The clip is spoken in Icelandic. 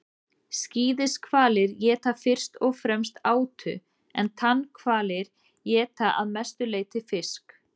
skíðishvalir éta fyrst og fremst átu en tannhvalir éta að mestu leyti fisk